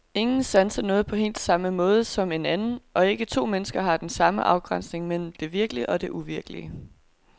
Ingen sanser noget på helt samme måde som en anden, og ikke to mennesker har den samme afgrænsning mellem det virkelige og det uvirkelige.